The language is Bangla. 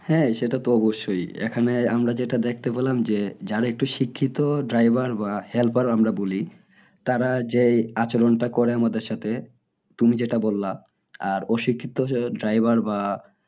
হ্যাঁ সেটা তো অবশ্যই এখানে আমরা যেটা দেখতে পেলাম যে যারা একটু শিক্ষিত driver বা helper আমরা বলি তারা যে আচরণটা করে আমাদের সাথে তুমি যেটা বললা আর অশিক্ষিত driver বা